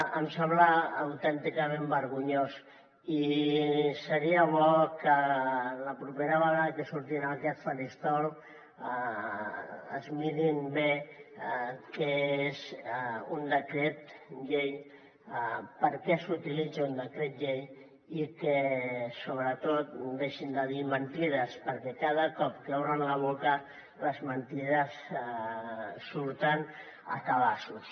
em sembla autènticament vergonyós i seria bo que la propera vegada que surtin en aquest faristol es mirin bé què és un decret llei per què s’utilitza un decret llei i sobretot deixin de dir mentides perquè cada cop que obren la boca les mentides surten a cabassos